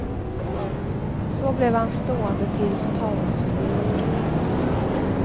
Så blev han stående tills pausgymnastiken var över.